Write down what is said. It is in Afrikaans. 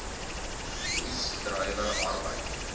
oes druiwe arbeid